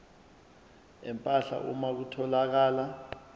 empahla uma kutholakala